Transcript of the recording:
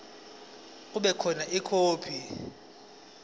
kube khona ikhophi